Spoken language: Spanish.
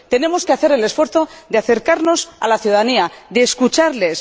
tenemos que hacer el esfuerzo de acercarnos a la ciudadanía, de escucharles.